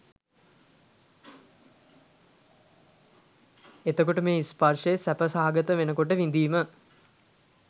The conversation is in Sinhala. එතකොට මේ ස්පර්ශය සැප සහගත වෙන කොට විඳීම